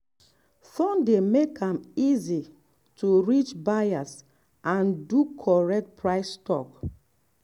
phone dey make am easy to to reach buyers and do correct price talk.